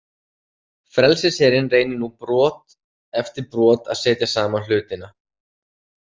Frelsisherinn reynir nú brot eftir brot að setja saman hlutana.